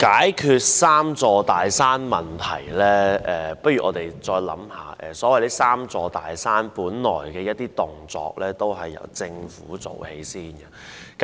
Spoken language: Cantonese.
關於解決"三座大山"的問題，不如我們再思考一下，所謂的"三座大山"部分本來源於政府的措施。